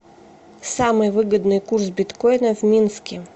самый выгодный курс биткоина в минске